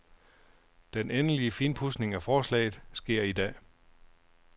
Den endelig finpudsning af forslaget sker i dag.